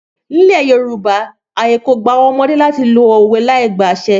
Nílẹ̀ Yorùbá ààyè kò gba àwọn ọmọdé láti lo òwe láìgba àṣẹ.